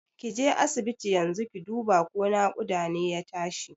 Kije asibiti yanzu ki duba ko naƙuda ne ya tashi